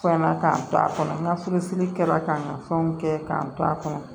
Fɛn na k'an to a kɔnɔ n ka furusiri kɛra ka n ka fɛnw kɛ k'an to a kɔnɔ